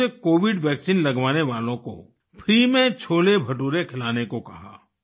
दोनों ने उनसे कोविड वैक्सीन लगवाने वालों को फ्री में छोलेभटूरे खिलाने को कहा